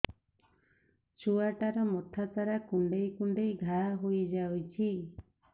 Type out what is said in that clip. ଛୁଆଟାର ମଥା ସାରା କୁଂଡେଇ କୁଂଡେଇ ଘାଆ ହୋଇ ଯାଇଛି